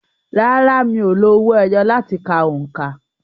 Rárá, mi ò lo owó ẹyọ láti ka òǹkà.